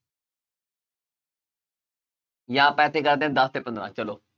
ਜਾਂ ਆਪਾਂ ਐਸੇ ਕਰਦੇ ਹੈ ਦਸ ਤੇ ਪੰਦਰਾਂ ਚਲੋ